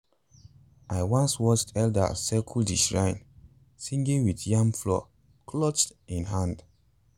i once watched elders circle the shrine singing with yam flour clutched in hand.